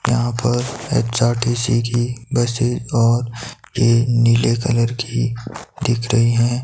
यहां पर एच_आर_टी_सी की बसें और के नीले कलर की दिख रही हैं।